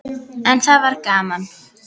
En það var gaman.